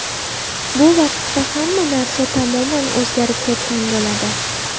Bu vaqtda hamma narsa tamoman o‘zgarib ketgan bo‘ladi.